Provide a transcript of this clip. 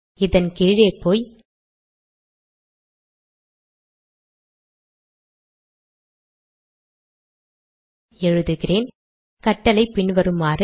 இதன் கீழே போய் எழுதுகிறேன் கட்டளை பின்வருமாறு